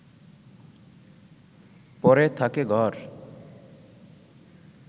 পড়ে থাকে ঘর